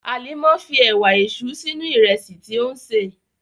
Hàlímà fí èwà èṣú sínu ìrẹ̀sì tí o n ṣé.